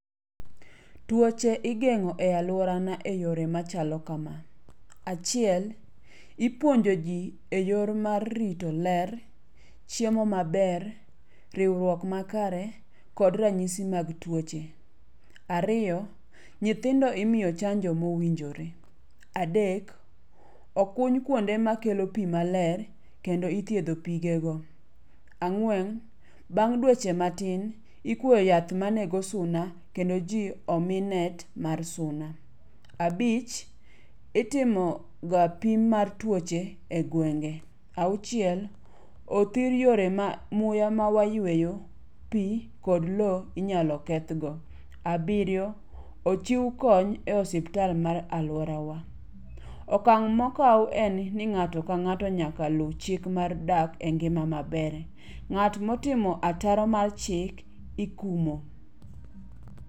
Tuoche igeng'o e alworana e yore machalo kama. Achiel, ipuonjo ji e yor mar rito ler, chiemo maber, riwruok makare kod ranyisi mag tuoche. Ariyo, nyithindo imiyo chanjo mowinjore. Adek, okuny kuonde makelo pi maler kendo ithiedho pigego. Ang'wen, bang' dweche matin, ikwo yath manego suna kendo ji omi net mar suna. Abich, itimo ga pim mar tuoche e gwenge. Auchiel, othir yore ma muya ma wayweyo, pi, kod lo inyalo kethgo. Abiriyo, ochiw kony e osiptal mar alworawa. Okang' mokaw en ni ng'ato ka ng'ato nyaka luw chik mar dak e ngima maber. Ng'at motimo ataro mar chik ikumo.